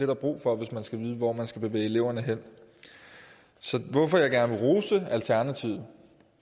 der brug for hvis man skal vide hvor man skal bevæge eleverne hen så hvorfor jeg gerne vil rose alternativet